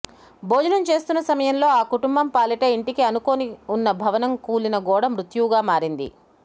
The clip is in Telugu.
భోజనం చేస్తున్న సమయంలో ఆ కుటుంబం పాలిటా ఇంటికి అనుకోని ఉన్న భవనం కూలిన గోడ మృత్యువుగా మారింది